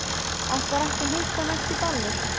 Ætlarðu ekki að hitta hana eftir ballið?